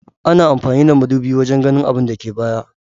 Ana amfani da madubi wajan ganin abinda ke baya